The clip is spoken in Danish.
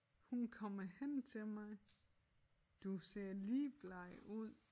Hun kommer hen til mig du ser ligbleg ud